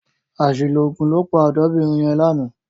Àṣìlò òògùn ló pa ọ̀dọ́bìnrin yẹn lánàá.